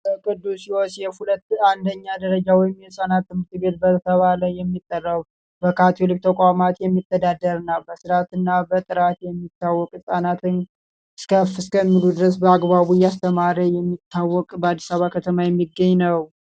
የቅዱስሲዎስ ሁለተኛ ወይም አንደኛ ደረጃ ትምህርት ቤት እየተባለ የሚጠራው በካቶሊክ ተቋማት የሚተዳደሩና በጥራቱ የሚታወቅ ህጻናትን ከፍ እስከሚሉ ድረስ በአግባቡ እያስተማረ የሚገኝ በአዲስ አበባ ከተማ የሚገኝ ነው።